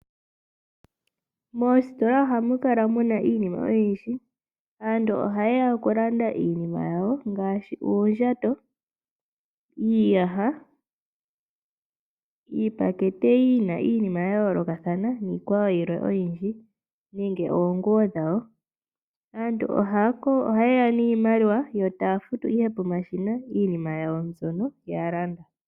Moositola ohamu kala muna iinima oyindji. Aantu oha ye ya oku landa iinima yawo ngaashi uundjato, iiyaha, iipakete yina iinima ya yoolokathana niikwawo yilwe oyindji nenge oonguwo dhawo. Aantu ohaye ya niimaliwa, yo taya futu ihe pomashina iinima yawo mbyono ya landa.